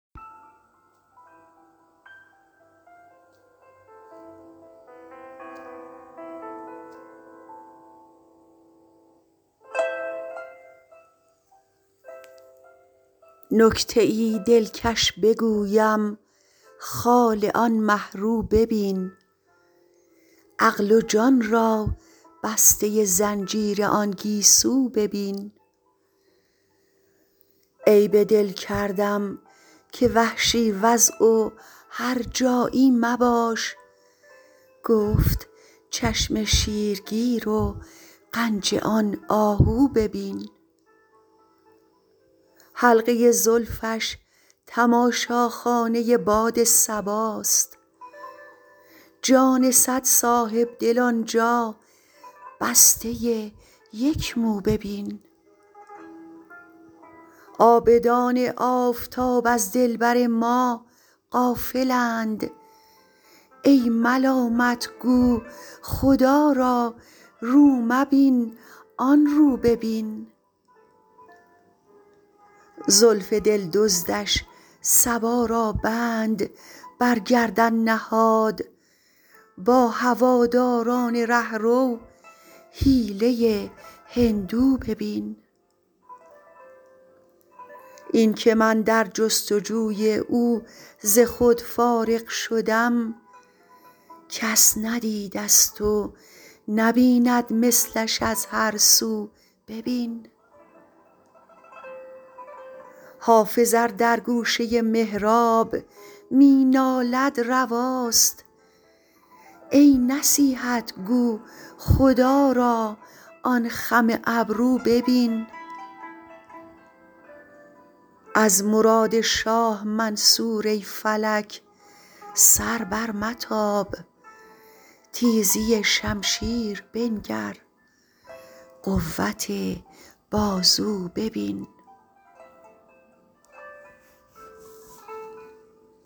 نکته ای دلکش بگویم خال آن مه رو ببین عقل و جان را بسته زنجیر آن گیسو ببین عیب دل کردم که وحشی وضع و هرجایی مباش گفت چشم شیرگیر و غنج آن آهو ببین حلقه زلفش تماشاخانه باد صباست جان صد صاحب دل آن جا بسته یک مو ببین عابدان آفتاب از دلبر ما غافل اند ای ملامت گو خدا را رو مبین آن رو ببین زلف دل دزدش صبا را بند بر گردن نهاد با هواداران ره رو حیله هندو ببین این که من در جست وجوی او ز خود فارغ شدم کس ندیده ست و نبیند مثلش از هر سو ببین حافظ ار در گوشه محراب می نالد رواست ای نصیحت گو خدا را آن خم ابرو ببین از مراد شاه منصور ای فلک سر برمتاب تیزی شمشیر بنگر قوت بازو ببین